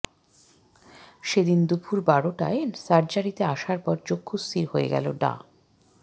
সেদিন দুপুর বারোটায় সার্জারিতে আসার পর চক্ষুস্থির হয়ে গেল ডা